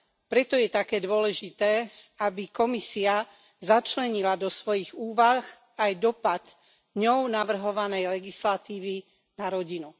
preto je také dôležité, aby Komisia začlenila do svojich úvah aj dosah ňou navrhovanej legislatívy na rodinu.